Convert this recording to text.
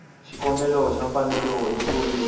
xikombelo xa mfanelo yo kurisa